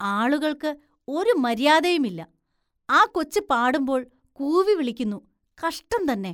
ആളുകള്‍ക്ക് ഒരു മര്യാദയുമില്ല, ആ കൊച്ച് പാടുമ്പോള്‍ കൂവി വിളിക്കുന്നു, കഷ്ടം തന്നെ.